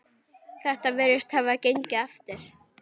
Þetta virðist hafa gengið eftir.